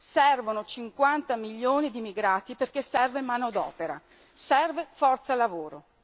Servono 50 milioni di migrati perché serve manodopera, serve forza lavoro.